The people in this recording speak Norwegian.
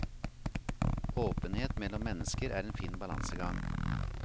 Åpenhet mellom mennesker er en fin balansegang.